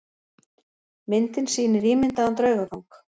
Myndin sýnir ímyndaðan draugagang.